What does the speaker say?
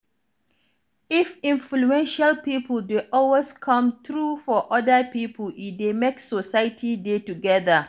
If influential pipo dey always come through for oda pipo e dey make society dey together